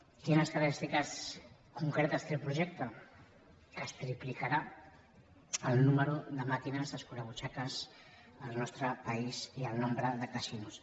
quines característiques concretes té el projecte que es triplicarà el nombre de màquines escurabutxaques al nostre país i el nombre de casinos